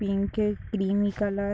Pink है। Creamy colour --